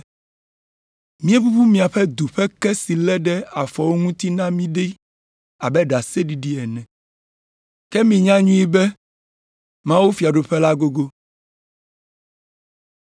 ‘Míeʋuʋu miaƒe du ƒe ke si lé ɖe afɔwo ŋuti na mí ɖi abe ɖaseɖiɖi ene. Ke minya nyuie be: mawufiaɖuƒe la gogo.’